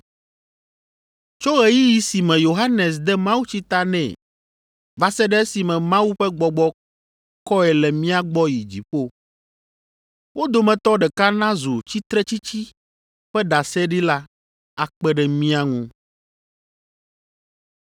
tso ɣeyiɣi si me Yohanes de mawutsi ta nɛ va se ɖe esime Mawu ƒe Gbɔgbɔ kɔe le mía gbɔ yi dziƒo. Wo dometɔ ɖeka nazu tsitretsitsi ƒe ɖaseɖila akpe ɖe mía ŋu.”